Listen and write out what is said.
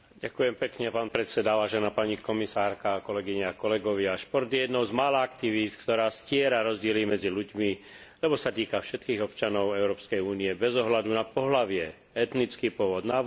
Šport je jednou z mála aktivít, ktorá stiera rozdiely medzi ľuďmi, lebo sa týka všetkých občanov Európskej únie bez ohľadu na pohlavie, etnický pôvod, náboženstvo, vek, štátnu príslušnosť či sociálne postavenie.